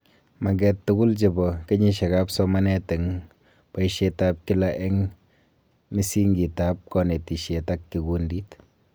Maget tugul chebo kenyishekab somanenet eng boishetab kila eng misingitab konetishet ak kikundit